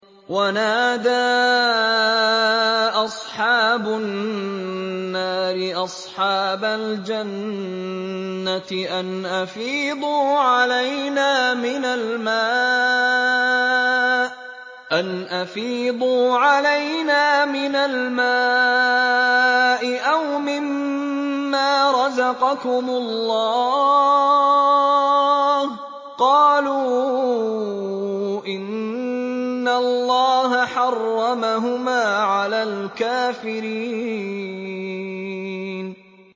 وَنَادَىٰ أَصْحَابُ النَّارِ أَصْحَابَ الْجَنَّةِ أَنْ أَفِيضُوا عَلَيْنَا مِنَ الْمَاءِ أَوْ مِمَّا رَزَقَكُمُ اللَّهُ ۚ قَالُوا إِنَّ اللَّهَ حَرَّمَهُمَا عَلَى الْكَافِرِينَ